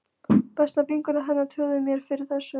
Besta vinkona hennar trúði mér fyrir þessu.